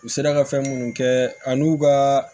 U sera ka fɛn munnu kɛ an n'u ka